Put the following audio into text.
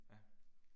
Ja